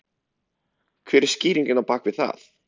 Hver er skýringin á bak við það?